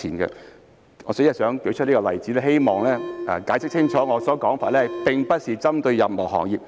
代理主席，我舉出這個例子只是希望解釋清楚我的說法，並非針對任何行業。